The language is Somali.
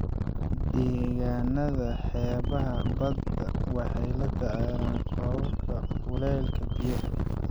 Deegaanada xeebaha badda waxay la tacaalaan kororka kuleylka biyaha.